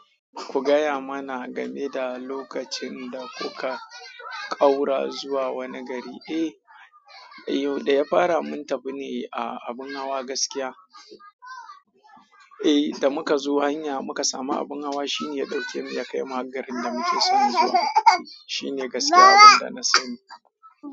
Ku gaya mana game da lokacin da kuka ƙaura zuwa wani gari. Eh, da ya fara mun tafi ne a abin hawa gaskiya. Eh, da muka zo hanya muka samu abin hawa shine ya dauke mu ya kai mu har garin da muke son zuwa. Shi ne gaskiya abunda na sani.